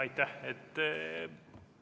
Aitäh!